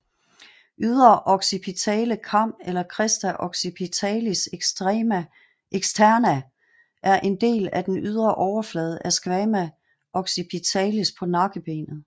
Ydre occipitale kam eller Crista occipitalis externa er en del af den ydre overflade af squama occipitalis på nakkebenet